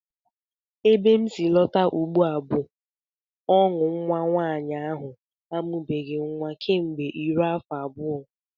Ebe m si alọta ugbu a bụ ọṅụ nnwa nwaanyị ahụ amụbeghị nnwa kemgbe iro afọ abụọ